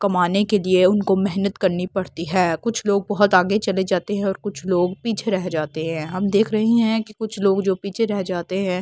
कमाने के लिए उनको मेहनत करनी पड़ती है कुछ लोग बहुत आगे चले जाते हैं और कुछ लोग पीछे रह जाते हैं हम देख रहे हैं कि कुछ लोग जो पीछे रह जाते हैं--